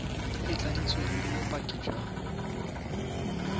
e tladitsweng le bopaki jwa